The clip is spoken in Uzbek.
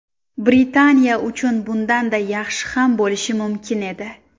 Britaniya uchun bundanda yaxshi ham bo‘lishi mumkin edi.